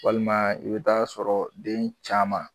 Walima i bɛ t'a sɔrɔ den caman.